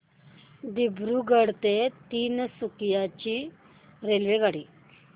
दिब्रुगढ ते तिनसुकिया ची रेल्वेगाडी